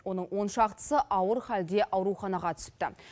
оның он шақтысы ауыр халде ауруханаға түсіпті